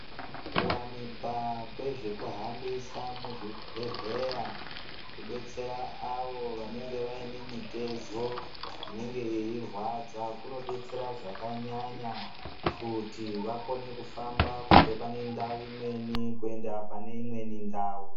Ku wanikwa kwezve ku hambisa mu zvibhedhleya ku detsera avo vanenge vaine mitezo inenge yei rwadza kuno detsera zvaka nyanya kuti vakone ku famba kubve pane ndau imweni kuenda pane imweni ndau.